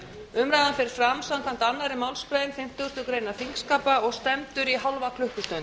umræðan fer fram samkvæmt annarri málsgrein fimmtugustu grein þingskapa og stendur í hálfa klukkustund